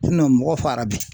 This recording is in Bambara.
mɔgɔ fara bi